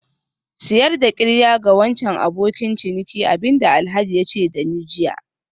Sayar da qirya ga wancan abokin ciniki abin da Alhaji ya ce da ni jiya